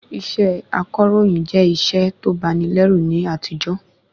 Iṣẹ́ akọ̀ròyìn jẹ́ iṣẹ́ to bani lẹ́rù ní àtijó